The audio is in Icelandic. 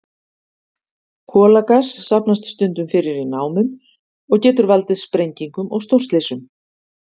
Kolagas safnast stundum fyrir í námum og getur valdið sprengingum og stórslysum.